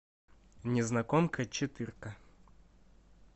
незнакомка четырка